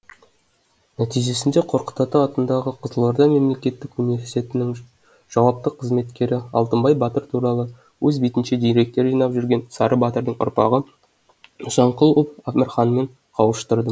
нәтижесінде қорқыт ата атындағы қызылорда мемлекеттік университетінің жауапты қызметкері алтынбай батыр туралы өз бетінше деректер жинақтап жүрген сары батырдың ұрпағы нысанқұлов әмірханмен қауыштырдым